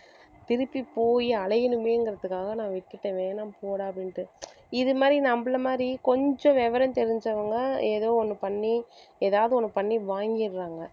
திருப்பி போயி அலையணுமேங்கிறதுக்காக நான் விட்டுட்டேன் வேணாம் போடா அப்படின்ட்டு இது மாதிரி நம்மளை மாதிரி கொஞ்சம் விவரம் தெரிஞ்சவங்க ஏதோ ஒண்ணு பண்ணி ஏதாவது ஒண்ணு பண்ணி வாங்கிடுறாங்க